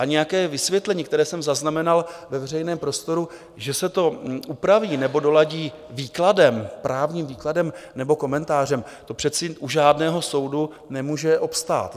A nějaké vysvětlení, které jsem zaznamenal ve veřejném prostoru, že se to upraví nebo doladí výkladem, právním výkladem nebo komentářem - to přece u žádného soudu nemůže obstát.